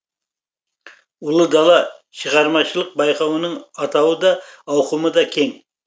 ұлы дала шығармашылық байқауының атауы да ауқымы да кең